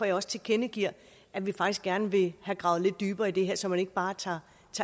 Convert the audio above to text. jeg også tilkendegiver at vi faktisk gerne vil have gravet lidt dybere i det her så man ikke bare tager